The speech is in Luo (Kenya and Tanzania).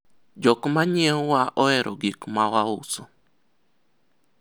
jok manyiewowa ohero gik ma wauso